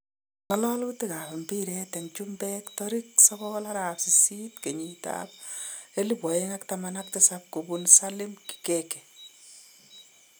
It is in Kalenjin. Ngalalutik ab mpiret en chumbek tarikit 09.08.2017 kobun Salim Kikeke